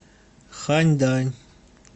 ханьдань